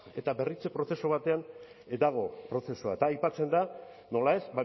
eta berritze prozesu batean dago prozesua eta aipatzen da nola ez